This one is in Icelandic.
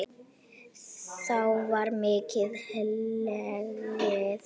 þá var mikið hlegið.